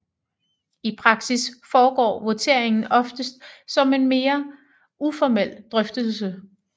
I praksis foregår voteringen oftest som en mere uformel drøftelse